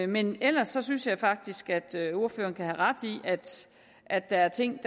men ellers synes jeg faktisk at ordføreren kan have ret i at der er ting